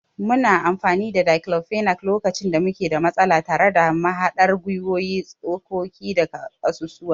Muna amfani da declofenac lokacin da muke da matsala tare da mahaɗar gwiwowi, tsokoki da ƙasusuwa.